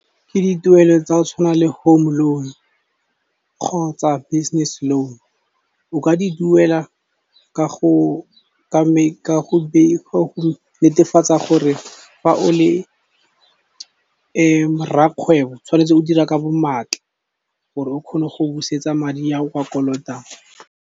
Ke dituelo tsa go tshwana le home loan kgotsa business loan, o ka di duela ka go netefatsa gore fa o le rrakgwebo tshwanetse o dira ka bo maatla, gore o kgone go busetsa madi a o a kolotang.